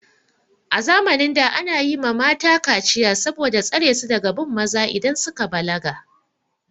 A zamanin da ana yi ma mata kaciya saboda tsare su daga bin maza idan suka balaga.